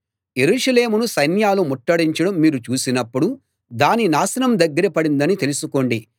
యెరూషలేమును సైన్యాలు ముట్టడించడం మీరు చూసినప్పుడు దాని నాశనం దగ్గర పడిందని తెలుసుకోండి